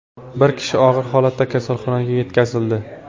Bir kishi og‘ir holatda kasalxonaga yetkazildi.